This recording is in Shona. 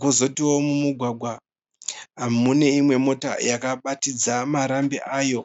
Kozotiwo mumugwagwa mune imwe motokari nhema yakabatidza marambi ayo.